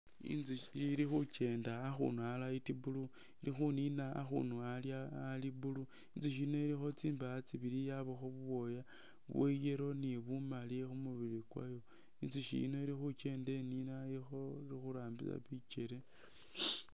Inzusyi ili khukenda akhunu a light blue, ili khunina akhunu ali blue, inzusyi yino ilikho tsindaa tsibili yabakho bubwooya bwa yellow ni bumali khu mubili kwayo. Inzusyi yino ili khukeenda inina ili khurambisa bikele.